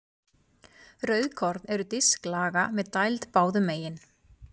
Rauðkorn eru disklaga með dæld báðum megin.